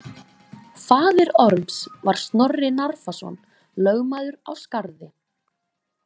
Faðir Orms var Snorri Narfason lögmaður á Skarði.